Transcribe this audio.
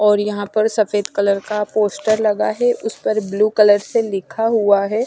और यहाँ पर सफेद कलर का पोस्टर लगा है उस पर ब्लू कलर से लिखा हुआ है।